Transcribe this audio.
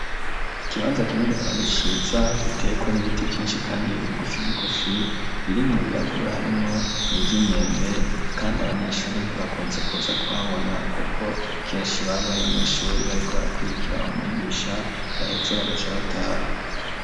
Ikibanza kinini kandi ciza, giteyeko n'ibiti vyinshi kandi bigufi bigufi, birimwo birakura harimwo n’ivy’imyembe, kandi abanyeshuri ntibakunze kuza kuhabona kuko kenshi baba bari mw'ishuri, bariko barakwirikira umwigisha yaheza bagaca bataha.